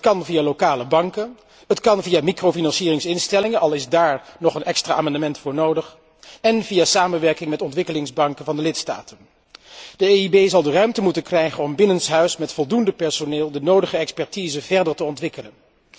Dat kan via lokale banken, het kan via microfinancieringsinstellingen, al is daar nog een extra amendement voor nodig, en via samenwerking met ontwikkelingsbanken van de lidstaten. De EIB zal de ruimte moeten krijgen om binnenshuis met voldoende personeel de nodige expertise verder te ontwikkelen.